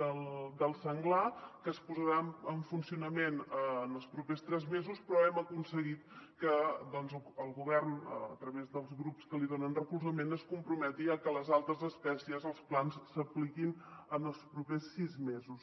del senglar que es posarà en funcionament en els propers tres mesos però hem aconseguit que el govern a través dels grups que li donen recolzament es comprometi a que amb les altres espècies els plans s’apli·quin en els propers sis mesos